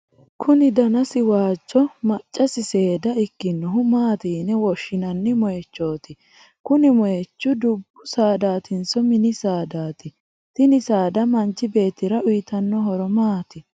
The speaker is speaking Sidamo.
kuni danasi waajjo maccasi seeda ikkinohu maati yine woshshinanni moyiichooti? kuni moyiichi dubbu saadaatinso mini saadaati? tini saada manchi beettira uyiitanno horo maati?